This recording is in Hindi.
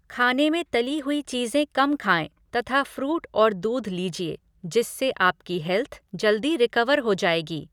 खाने में तली हुई चीज़ें कम खाएँ तथा फ़्रूट और दूध लीजिए, जिससे आपकी हेल्थ जल्दी रिकवर हो जाएगी।